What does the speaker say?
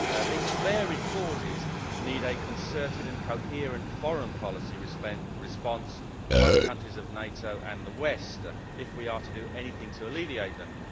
These varied causes need a concerted and coherent foreign policy response by the countries of NATO and the West if we are to do anything to alleviate them.